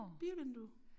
Bilvindue